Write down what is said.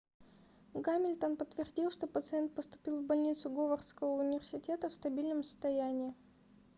гамильтон подтвердил что пациент поступил в больницу говардского университета в стабильном состоянии